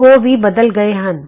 ਉਹ ਵੀ ਬਦਲ ਗਏ ਹਨ